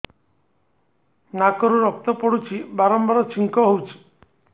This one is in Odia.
ନାକରୁ ରକ୍ତ ପଡୁଛି ବାରମ୍ବାର ଛିଙ୍କ ହଉଚି